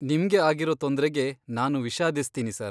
ನಿಮ್ಗೆ ಆಗಿರೋ ತೊಂದ್ರೆಗೆ ನಾನು ವಿಷಾದಿಸ್ತೀನಿ ಸರ್.